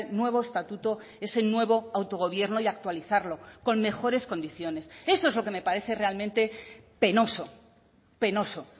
nuevo estatuto ese nuevo autogobierno y actualizarlo con mejores condiciones eso es lo que me parece realmente penoso penoso